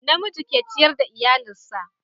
na miji ke ciyar da iyalinsa